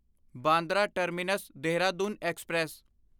Bandra terminus Dehradun express